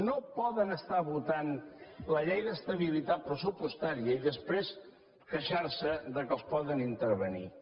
no poden estar votant la llei d’estabilitat pressupostària i després queixar se que els poden intervenir